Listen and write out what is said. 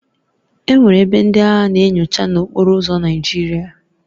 Enwere ebe ndị agha na-enyocha n'okporo ụzọ Naijiria